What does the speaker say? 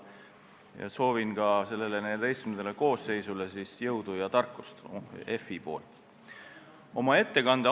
Ka tahan Riigikogu XIV koosseisule Finantsinspektsiooni poolt jõudu ja tarkust soovida.